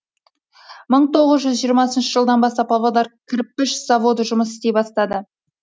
мың тоғыз жүз жиырмасыншы жылдан бастап павлодар кірпіш заводы жұмыс істей бастады